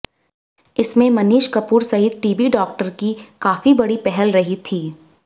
इसमें मनीष कपूर सहित TB doctor की काफी बड़ी पहल रही थी